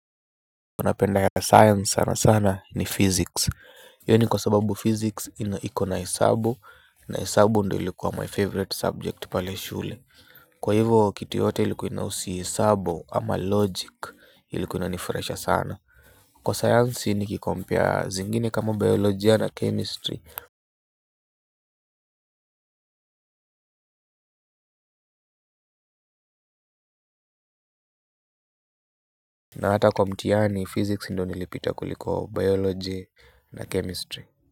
Kwa napenda ya science sana sana ni physics Yoni kwa sababu physics iko na hisabu. Na hisabu ndo ilikuwa my favorite subject pale shule. Kwa hivo kitu yote ilikua inausi hisabu ama logic ilikua inanifraisha sana. Kwa science ni kikompare zingine kama biolojia na chemistry. Na hata kwa mtiani physics ndo nilipita kuliko biology na chemistry.